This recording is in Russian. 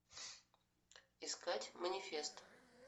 искать манифест